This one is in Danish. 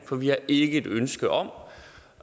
for vi har ikke et ønske om